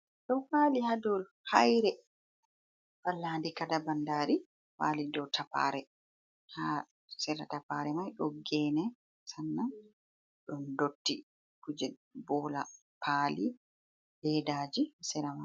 Ɗo wali ha dou haire, pallandi kaɗa bandari wali dou tappare, ha sera tappare mai ɗon gene sannan ɗon dotti kuje bola, pali, ledaji, sera mai.